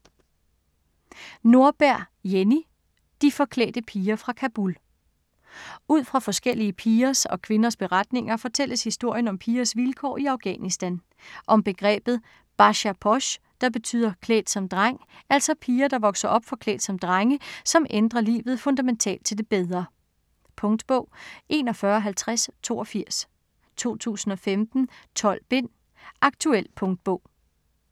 Nordberg, Jenny: De forklædte piger fra Kabul Ud fra forskellige pigers og kvinders beretninger, fortælles historien om pigers vilkår i Afghanistan. Om begrebet "bacha posh", der betyder "klædt som dreng", altså piger, der vokser op forklædt som drenge, som ændrer livet fundamentalt til det bedre. Punktbog 415082 2015. 12 bind. Aktuel punktbog